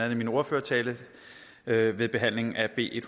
i min ordførertale ved ved behandlingen af b en